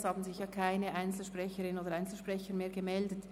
Es haben sich keine Einzelsprecherinnen oder Einzelsprecher mehr gemeldet.